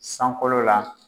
Sankɔlo la.